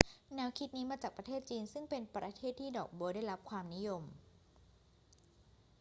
แนวคิดนี้มาจากประเทศจีน ซึ่งเป็นประเทศที่ดอกบ๊วยได้รับความนิยม